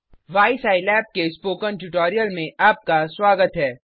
why सिलाब के spoken tutorial में आपका स्वागत है